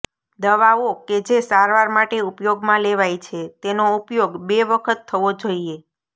દવાઓ કે જે સારવાર માટે ઉપયોગમાં લેવાય છે તેનો ઉપયોગ બે વખત થવો જોઈએ